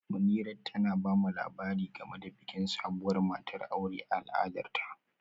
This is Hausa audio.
Munirat tana ba mu labari game da bikin sabuwar matar aure a al'adarta